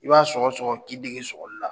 I b'a sɔgɔsɔgɔ k'i dege sɔgɔli la.